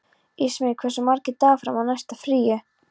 Ísmey, hversu margir dagar fram að næsta fríi?